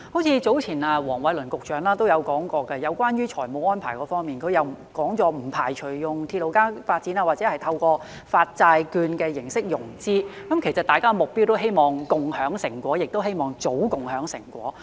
早前黃偉綸局長都說過在財務安排方面，不排除用鐵路加發展或透過發債券的形式融資，其實大家的目標都希望共享成果，也希望早共享成果。